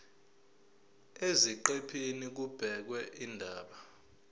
eziqephini kubhekwe izindaba